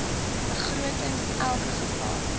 begrotings elke geval